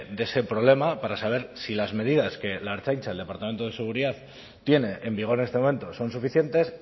de ese problema para saber si las medidas que la ertzaintza el departamento de seguridad tiene en vigor en este momento son suficientes